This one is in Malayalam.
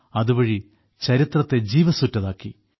അതുവഴി ചരിത്രത്തെ ജീവസ്സുറ്റതാക്കി